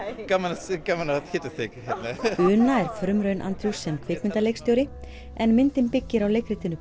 gaman gaman að hitta þig una er frumraun sem kvikmyndaleikstjóri en myndin byggir á leikritinu